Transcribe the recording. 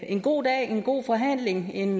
en god dag en god forhandling en